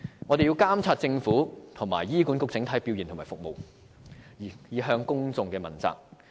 我們要監察政府和醫管局的整體表現和服務，以向公眾問責。